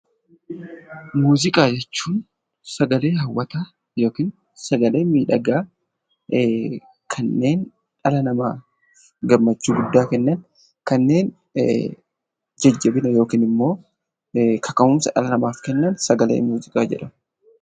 Muuziqaa jechuun sagalee hawwataa yookiin sagalee miidhagaa kanneen dhala namaa gammachuu guddaa kennan akkasumas immoo kanneen jajjabina dhala namaaf kennan yookaan immoo kaka'umsa namaaf kennan muuziqaa jedhamu.